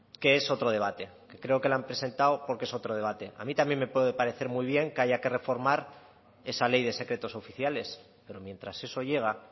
que es otro debate y creo que la han presentado porque es otro debate a mí también me puede aparecer muy bien que haya que reformar esa ley de secretos oficiales pero mientras eso llega